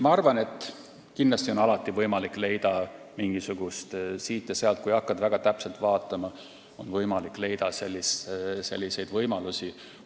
Ma arvan, et kindlasti, kui hakkad väga täpselt vaatama, saab leida siit ja sealt veel mingisuguseid võimalusi.